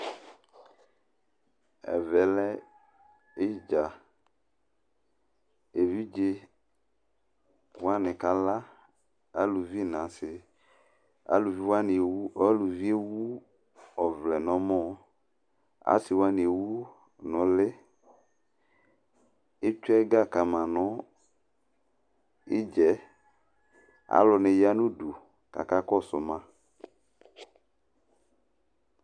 Ɛvɛ lɛ idza Evidze wani kala aluvi n'asi Aluvi wani ewu ɔvlɛ n'ɔmɔ, asi wani ewʋ n'uli Etsʋe ɛga kama nʋ ɩdzɛ Alu niya nʋ udu k'aka kɔsʋ ma